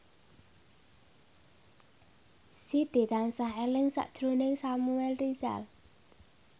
Siti tansah eling sakjroning Samuel Rizal